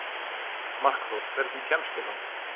Markþór, hvernig kemst ég þangað?